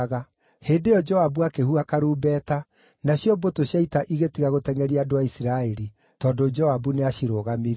Hĩndĩ ĩyo Joabu akĩhuha karumbeta, nacio mbũtũ cia ita igĩtiga gũtengʼeria andũ a Isiraeli, tondũ Joabu nĩacirũgamirie.